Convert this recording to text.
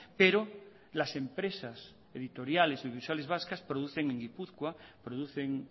pero las empresas editoriales y audiovisuales vascas producen en gipuzkoa producen